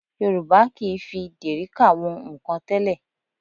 Yorùbá kì í fi dèríkà wọn nnkan tẹ́lẹ̀